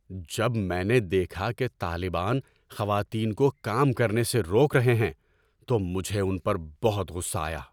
جب میں نے دیکھا کہ طالبان خواتین کو کام کرنے سے روک رہے ہیں تو مجھے ان پر بہت غصہ آیا۔